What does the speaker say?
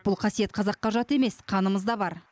бұл қасиет қазаққа жат емес қанымызда бар